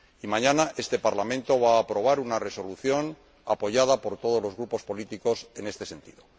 Mañana, este Parlamento va a aprobar una resolución apoyada por todos los grupos políticos en este sentido.